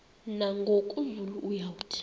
nangoku zulu uauthi